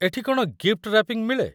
ଏଠି କ'ଣ gift wrapping ମିଳେ ?